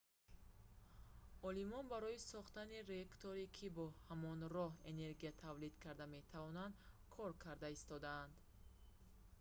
олимон барои сохтани реакторе ки бо ҳамон роҳ энергия тавлид карда метавонад кор карда истодаанд